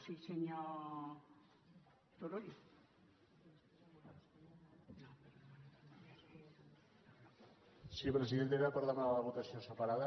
sí presidenta era per demanar la votació separada